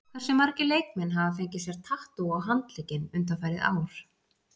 Hversu margir leikmenn hafa fengið sér tattú á handlegginn undanfarið ár?